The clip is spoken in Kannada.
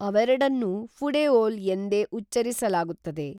ಅವೆರಡನ್ನೂ ಫುಡೇಒಲ್ ಎಂದೇ ಉಚ್ಚರಿಸಲಾಗುತ್ತದೆ